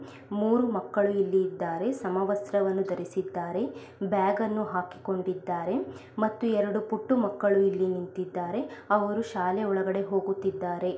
ಮೂರೂ ಮಕ್ಕಳು ಇಲ್ಲಿ ಇದ್ದಾರೆ ಸಮವಸ್ತ್ರವನ್ನು ಧರಿಸಿದ್ದಾರೆ ಬ್ಯಾಗ್ ಅನ್ನು ಹಾಕಿಕೊಂಡಿದ್ದಾರೆ ಮತ್ತು ಎರೆಡು ಪುಟ್ಟು ಮಕ್ಕಳು ಇಲ್ಲಿ ನಿಂತಿದ್ದಾರೆ ಅವರು ಶಾಲೆಯ ಒಳಗಡೆ ಹೋಗುತ್ತಿದ್ದಾರೆ.